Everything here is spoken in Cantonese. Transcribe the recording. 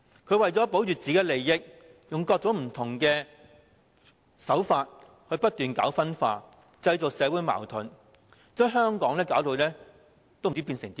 他為求保護自身利益，採取各種不同手法不斷搞分化，製造社會矛盾，將香港弄至一團糟。